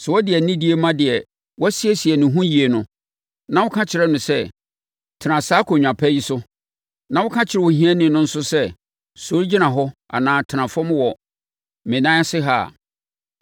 Sɛ wode anidie ma deɛ wasiesie ne ho yie no, na woka kyerɛ no sɛ, “Tena saa akonnwa pa yi so,” na woka kyerɛ ohiani no nso sɛ, “Sɔre gyina hɔ anaa tena fam wɔ me nan ase ha” a,